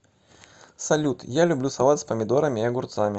салют я люблю салат с помидорами и огурцами